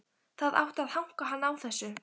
Það átti að hanka hann á þessu.